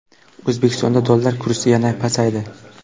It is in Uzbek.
O‘zbekistonda dollar kursi yana pasaydi.